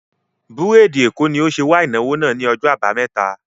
Búrèdì Èkó ni ó ṣe wà ìnáwó náà ni ọjọ́ àbámẹ́ta